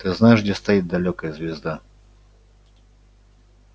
ты знаешь где стоит далёкая звезда